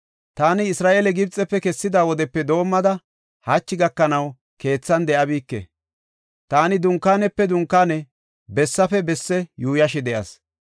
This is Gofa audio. Taani Isra7eele Gibxefe kessida wodepe doomada hachi gakanaw keethan de7abike; taani dunkaanepe dunkaane, bessafe bessi yuuyashe de7as.